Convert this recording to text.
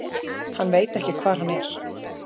Hann veit ekki hvar hann er.